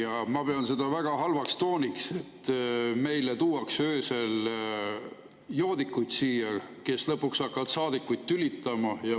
Ja ma pean seda väga halvaks tooniks, et meile tuuakse öösel siia joodikuid, kes lõpuks hakkavad saadikuid tülitama.